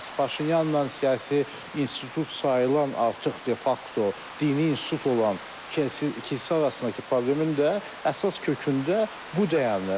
Bəs Paşinyanla siyasi institut sayılan artıq de-fakto dini institut olan kilsə arasındakı problemin də əsas kökündə bu dayanır.